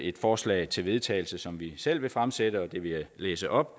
et forslag til vedtagelse som vi selv vil fremsætte og det vil jeg læse op